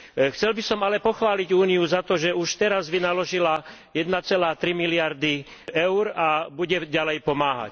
Chcel by som ale pochváliť Úniu za to, že už teraz vynaložila 1,3 miliardy eur a bude ďalej pomáhať.